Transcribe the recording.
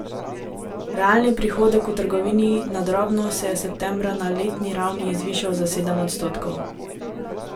Realni prihodek v trgovini na drobno se je septembra na letni ravni zvišal za sedem odstotkov.